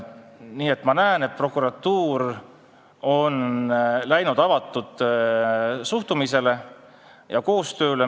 Nii et ma näen, et prokuratuur on läinud avatud suhtumise ja koostöö teele.